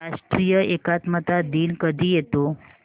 राष्ट्रीय एकात्मता दिन कधी येतो